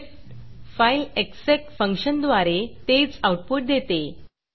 script file execएग्ज़ेक फंक्शनद्वारे तेच आऊटपुट देते